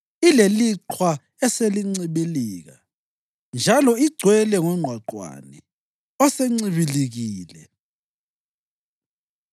ileliqhwa eselincibilika, njalo igcwele ngongqwaqwane osencibilikile,